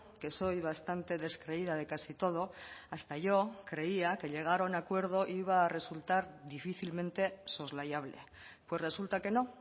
que soy bastante descreída de casi todo hasta yo creía que llegar a un acuerdo iba a resultar difícilmente soslayable pues resulta que no